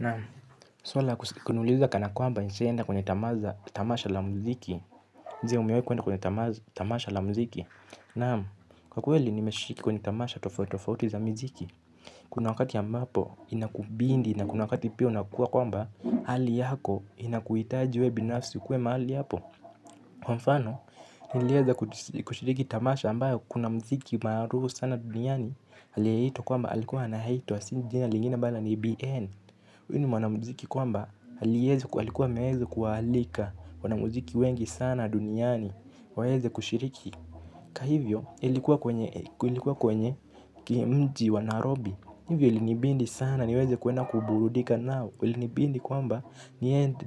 Naam, swala la kuniuliza kana kwamba nishawahi enda kwenye tamasha tamasha la mziki. Ndiyo umewahi kuenda kwenye tamasha la muziki. Naam, kwa kweli nimeshiriki kwenye tamasha tofauti tofauti za miziki. Kuna wakati ambapo inakubidi na kuna wakati pia unakua kwamba hali yako inakuhitaji wewe binafsi ukuwe mahali hapo. Kwa mfano, nilieza kushiriki tamasha ambayo kuna muziki maarufu sana duniani aliyeitwa kwamba alikuwa anaitwa, si jina lingine bala ni Bien. Huyu ni mwanamuziki kwamba alikuwa ameweza kuwaalika wanamuziki wengi sana duniani. Waweze kushiriki hivyo ilikuwa kwenye mji wa nairobi hivyo ilinibidi sana niweze kuenda kuburudika nao ilinibidi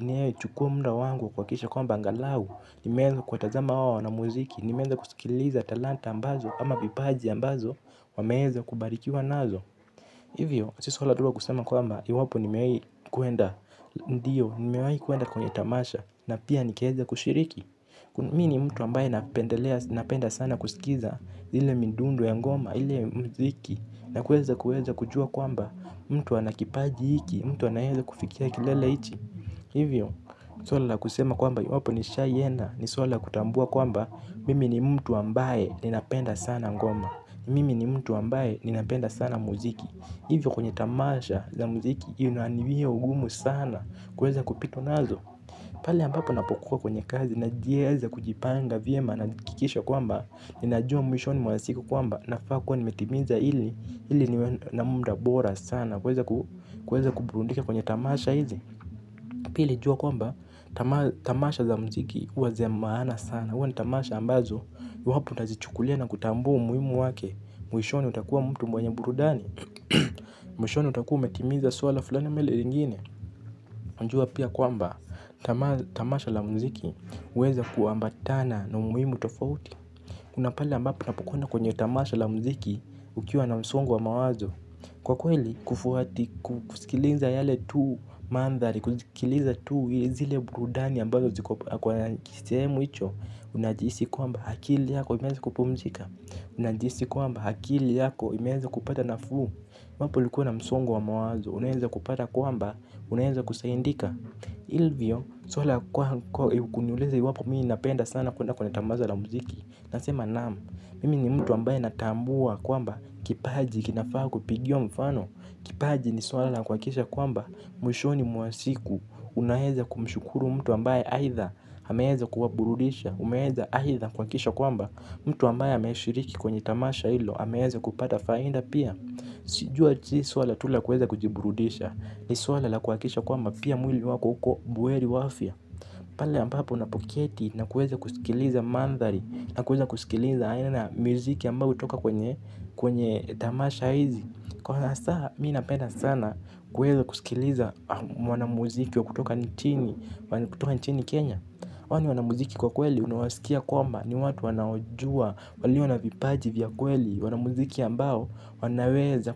nichukue muda wangu kuhakikisha kwamba angalau nimeweza kuwatazama hao wanamuziki. Nimeweza kusikiliza talanta ambazo ama vipaji ambazo wameweza kubarikiwa nazo. Hivyo, si swala tu la kusema kwamba, iwapo nimewahi kuenda, ndiyo, nimewahi kuenda kwenye tamasha, na pia nikaweza kushiriki. Mi ni mtu ambaye napendelea, napenda sana kusikiza, ile midundo ya ngoma, ile muziki, na kuweza kuweza kujua kwamba, mtu ana kipaji hiki, mtu anaeza kufikia kilele hichi. Hivyo, swala la kusema kwamba, iwapo nishaienda, ni swala la kutambua kwamba, mimi ni mtu ambaye ninapenda sana ngoma. Mimi ni mtu ambaye ninapenda sana muziki. Hivyo kwenye tamasha za muziki inani wia ugumu sana kuweza kupitwa nazo. Pale ambapo napokuwa kwenye kazi najieza kujipanga vyema nahakikisha kwamba ninajua mwishoni mwa siku kwamba nafaa kuwa nimetimiza hili ili niwe na muda bora sana. Kuweza kuburudika kwenye tamasha hizi. Pili jua kwamba tamasha za muziki huwa za maana sana. Na huwa ni tamasha ambazo, iwapo utazichukulia na kutambua umuhimu wake. Mwishoni utakuwa mtu mwenye burudani. Mwishoni utakuwa umetimiza swala fulani ama ile lingine unajua pia kwamba tamasha la muziki huweza kuambatana na umuhimu tofauti. Kuna pale ambapo unapokwenda kwenye tamasha la muziki ukiwa na msongo wa mawazo. Kwa kweli kufuati kusikiliza yale tu maandhari. Kusikiliza tu zile burudani ambazo ziko kwa kisehemu hicho. Unajhisi kwamba akili yako imeweza kupumzika. Unajihisi kwamba akili yako imeweza kupata nafuu iwapo ulikuwa na msongo wa mawazo. Unaweza kupata kwamba unaweza kusaidika hivyo. Swala kuniuliza iwapo mimi napenda sana kuenda kwenye tamasha la muziki. Nasema naam. Mimi ni mtu ambaye natambua kwamba kipaji kinafaa kupigiwa mfano. Kipaji ni swala la kuhakikisha kwamba mwishoni mwa siku unaweza kumshukuru mtu ambaye aidha ameweza kuwaburudisha umeweza aidha kuhakikisha kwamba mtu ambaye ameshiriki kwenye tamasha hilo ameweza kupata faida pia si swala tu la kuweza kujiburudisha, ni swala la kuhakikisha kwamba pia mwili wako uko buheri wa afya pale ambapo unapoketi na kuweza kusikiliza maandhari na kuweza kusikiliza aina ya miziki ambayo hutoka kwenye tamasha hizi, kwa hasa mimi napenda sana kuweza kusikiliza mwanamuziki wa kutoka nchini kenya hawa ni wana muziki kwa kweli unawasikia kwamba ni watu wanaojua walio na vipaji vya kweli wana muziki ambao wanaweza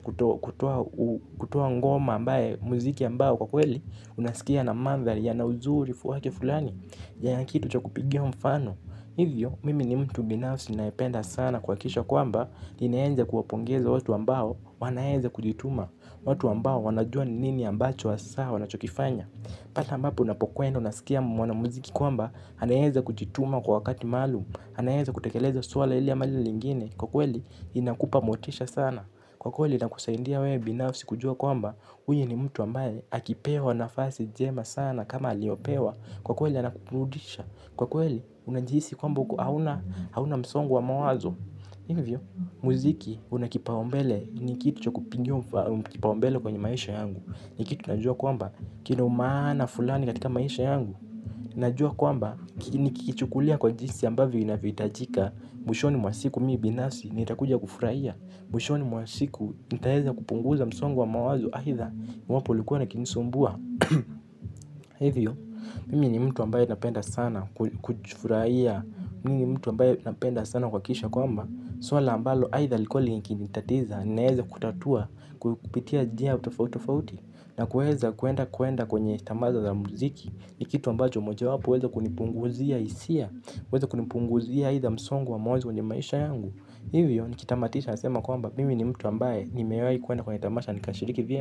kutoa ngoma ambayo muziki ambao kwa kweli unasikia na maandhari yana uzuri wake fulani yana kitu cha kupigia mfano hivyo mimi ni mtu binafsi ninaipenda sana kuhakikisha kwamba ninaeza kuwapongeza watu ambao wanaeza kujituma watu ambao wanajua nini ambacho hasaa wanachokifanya hata ambapo unapokwenda unasikia mwana muziki kwamba, anaweza kujituma kwa wakati maalumu, anaweza kutekeleza swala hili ama lile lingine, kwa kweli inakupa motisha sana, kwa kweli inakusaidia wewe binafsi kujua kwamba, huyu ni mtu ambaye akipewa nafasi njema sana kama aliyopewa, kwa kweli anakuburudisha, kwa kweli unajihisi kwamba hauna msongo wa mawazo. Muziki una kipaombele ni kitu cha kupigiwa kipaombele kwenye maisha yangu. Ni kitu najua kwamba kina umaana fulani katika maisha yangu najua kwamba nikikichukulia kwa jinsi ambavyo inavyohitajika mwishoni mwa siku mimi binafsi nitakuja kufurahia mwishoni mwa siku nitaweza kupunguza msongo wa mawazo aidha iwapo ulikuwa ukinisumbua. Hivyo, mimi ni mtu ambaye napenda sana kufurahia. Mimi ni mtu ambaye napenda sana kuhakikisha kwamba swala ambalo aidha lilikuwa liki nitatiza naeza kutatua kupitia njia tofauti tofauti. Na kuweza kuenda kuenda kwenye tamasha za muziki. Ni kitu ambacho moja wapo huweza kunipunguzia hisia huweza kunipunguzia aidha msongo wa mawazo kwenye maisha yangu. Hivyo nikitamatisha nasema kwamba mimi ni mtu ambaye nimewahi kuenda kwenye tamasha nikashiriki vyema.